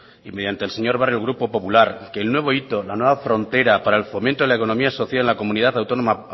y mediante el señor barrio el grupo popular que el nuevo hito la nueva frontera para el fomento de la economía social en la comunidad autónoma